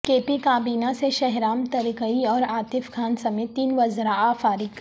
کے پی کابینہ سے شہرام ترکئی اور عاطف خان سمیت تین وزراء فارغ